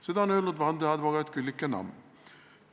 " Seda on öelnud vandeadvokaat Küllike Namm.